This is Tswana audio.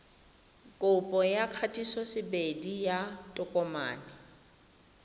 kopo ya kgatisosebedi ya tokomane